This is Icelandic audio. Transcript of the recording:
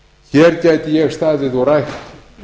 hér gæti ég staðið og rætt